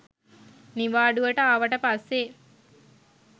නිවාඩුවට ආවට පස්සේ